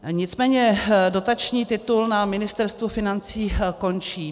Nicméně dotační titul na Ministerstvu financí končí.